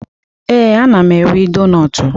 Ee, ana m eri donutu.